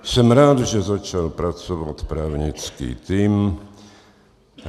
Jsem rád, že začal pracovat právnický tým.